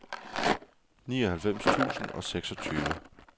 nioghalvfems tusind og seksogtyve